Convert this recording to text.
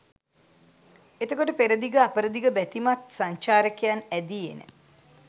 එතකොට පෙරදිග අපරදිග බැතිමත් සංචාරකයන් ඇදී එන